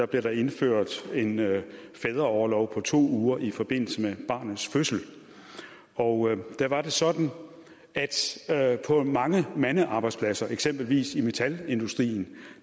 blev der indført en fædreorlov på to uger i forbindelse med barnets fødsel og der var det sådan at på mange mandearbejdspladser eksempelvis i metalindustrien